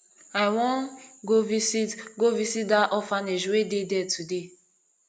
i wan go visit go visit dat orphanage wey dey there today